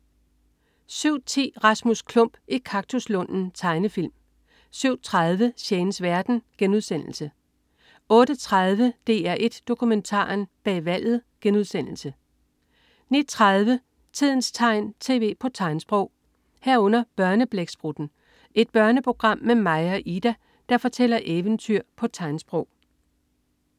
07.10 Rasmus Klump i kaktuslunden. Tegnefilm 07.30 Shanes verden* 08.30 DR1 Dokumentaren: Bag valget* 09.30 Tidens tegn. Tv på tegnsprog 09.30 Børneblæksprutten. Et børneprogram med Maja og Ida, der fortæller eventyr på tegnsprog